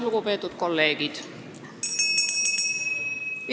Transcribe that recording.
Lugupeetud kolleegid!